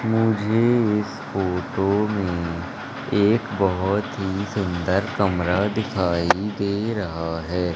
मुझे इस फोटो में एक बहोत ही सुंदर कमरा दिखाई दे रहा है।